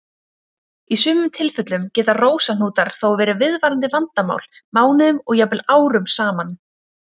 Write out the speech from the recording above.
Í sumum tilfellum geta rósahnútar þó verið viðvarandi vandamál mánuðum og jafnvel árum saman.